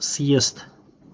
съезд